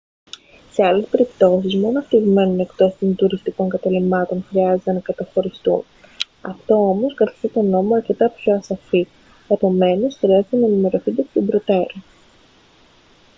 σε άλλες περιπτώσεις μόνο αυτοί που μένουν εκτός των τουριστικών καταλυμάτων χρειάζεται να καταχωριστούν αυτό όμως καθιστά τον νόμο αρκετά πιο ασαφή επομένως χρειάζεται να ενημερωθείτε εκ των προτέρων